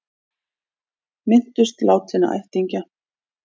Minntust látinna ættingja